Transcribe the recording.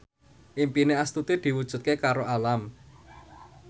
impine Astuti diwujudke karo Alam